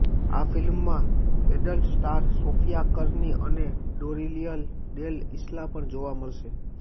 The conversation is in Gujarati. આ ફિલ્મમાં એડલ્ટ સ્ટાર સોફિયા કર્લી અને ડોરિયન ડેલ ઈસ્લા પણ જોવા મળશે